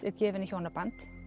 er gefin í hjónaband